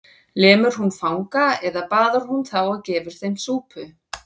Lemur hún fanga eða baðar hún þá og gefur þeim súpu?